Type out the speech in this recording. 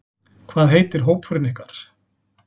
Hvað heitir hópurinn ykkar?